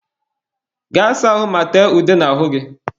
Gaa saa ahụ ma tee ude n'ahụ gị!